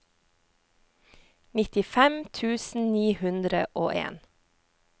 nittifem tusen ni hundre og en